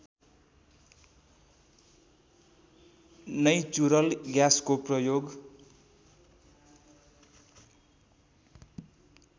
natural ग्याँसको प्रयोग